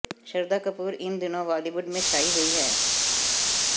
श्रद्धा कपूर इन दिनों बॉलीवुड में छाई हुई हैं